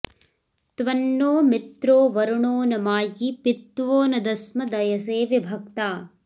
त्वं नो मित्रो वरुणो न मायी पित्वो न दस्म दयसे विभक्ता